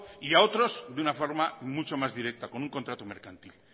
y a otros de una forma mucho más directa con un contrato mercantil